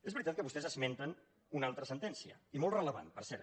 és veritat que vostès esmenten una altra sentència i molt rellevant per cert